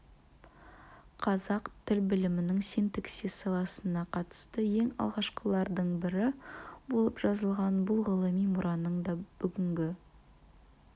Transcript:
қазақ тіл білімінің синтаксис саласына қатысты ең алғашқылардың бірі болып жазылған бұл ғылыми мұраның да бүгінгі